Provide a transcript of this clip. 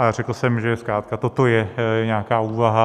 A řekl jsem, že zkrátka toto je nějaká úvaha.